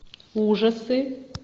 ужасы